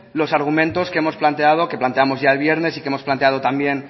los argumentos que hemos planteado que planteamos ya el viernes y que hemos planteamos también